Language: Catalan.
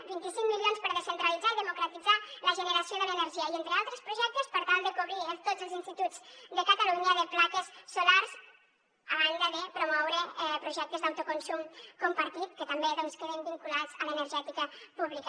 vint i cinc milions per descentralitzar i democratitzar la generació de l’energia i entre altres projectes per tal de cobrir tots els instituts de catalunya de plaques solars a banda de promoure projectes d’autoconsum compartit que també queden vinculats a l’energètica pública